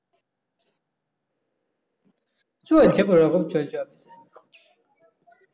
চলছে কোনো রকম চলছে